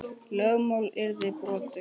Lögmál yrði brotið.